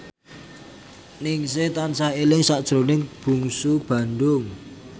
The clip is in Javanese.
Ningsih tansah eling sakjroning Bungsu Bandung